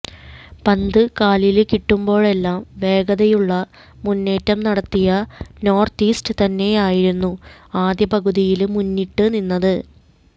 പന്ത് കാലില് കിട്ടുമ്പോഴേല്ലാം വേഗതയുള്ള മുന്നേറ്റം നടത്തിയ നോര്ത്ത് ഈസ്റ്റ് തന്നെയായിരുന്നു ആദ്യപകുതിയില് മുന്നിട്ട് നിന്നത്